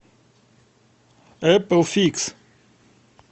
эпл фикс